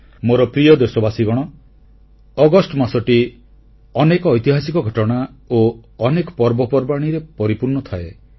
ମୋର ପ୍ରିୟ ଦେଶବାସୀଗଣ ଅଗଷ୍ଟ ମାସଟି ଅନେକ ଐତିହାସିକ ଘଟଣା ଓ ଅନେକ ପର୍ବପର୍ବାଣୀରେ ପରିପୂର୍ଣ୍ଣ ଥାଏ